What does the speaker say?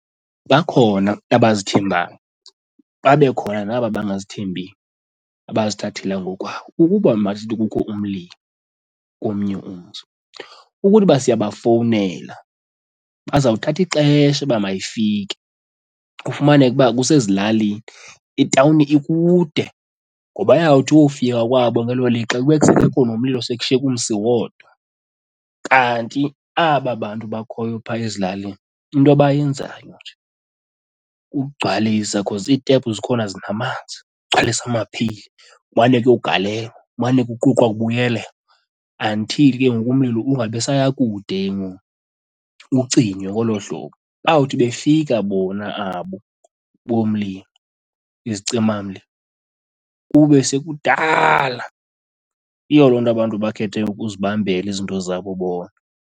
Bakhona abazithembayo, babekhona naba bangazithembi, abazithathela ngokwabo. Ukuba masithi kukho umlilo komnye umzi ukuthi uba siyabafowunela baza kuthatha ixesha uba mayifike kufumaneke uba kusezilalini itawuni ikude ngoba iyawuthi uyowufika kwabo ngelo lixa kube sekungekho nomlilo sekushiyeke umsi wodwa. Kanti aba bantu bakhoyo phaa ezilalini into abayenzayo nje kukugcwalisa nje because itephu zikhona zinamanzi. Ugcwalise amapheyile kumane kuyogalelw,a kumane ke kuquqwa kubuyelela until ke ngoku umlilo ungabi saya kude ke ngoku, ucinywe ngolo hlobo. Bawuthi befika bona abo bomlilo, izicimamlilo, kube sekudala. Yiyo loo nto abantu bakhethe ukuzibambela izinto zabo bona.